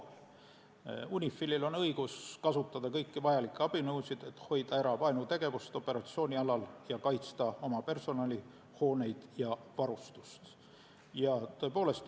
UNIFIL-il on õigus kasutada kõiki vajalikke abinõusid, et hoida ära vaenutegevust operatsioonialal ning kaitsta oma personali, hooneid ja varustust.